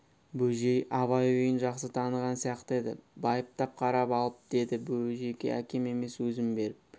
бөжей абай күйін жақсы таныған сияқты еді байыптап қарап алып деді бөжіке әкем емес өзім беріп